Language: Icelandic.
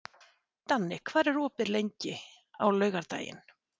Danni, hvað er opið lengi á laugardaginn?